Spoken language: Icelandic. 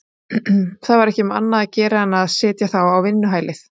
Það var ekki um annað að gera en að setja þá á vinnuhælið.